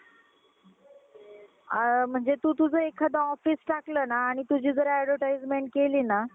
अ म्हणजे तु तुझं एखादं office टाकलं ना आणि तुझी जर advertisement केली ना